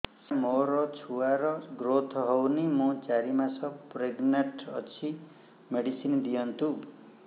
ସାର ମୋର ଛୁଆ ର ଗ୍ରୋଥ ହଉନି ମୁ ଚାରି ମାସ ପ୍ରେଗନାଂଟ ଅଛି ମେଡିସିନ ଦିଅନ୍ତୁ